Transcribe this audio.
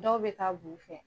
Dɔw bɛ ka b'u fɛ.